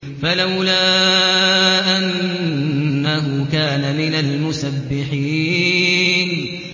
فَلَوْلَا أَنَّهُ كَانَ مِنَ الْمُسَبِّحِينَ